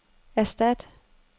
erstat